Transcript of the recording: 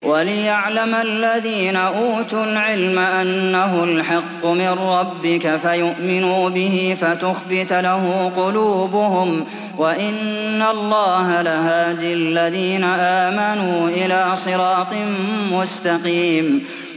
وَلِيَعْلَمَ الَّذِينَ أُوتُوا الْعِلْمَ أَنَّهُ الْحَقُّ مِن رَّبِّكَ فَيُؤْمِنُوا بِهِ فَتُخْبِتَ لَهُ قُلُوبُهُمْ ۗ وَإِنَّ اللَّهَ لَهَادِ الَّذِينَ آمَنُوا إِلَىٰ صِرَاطٍ مُّسْتَقِيمٍ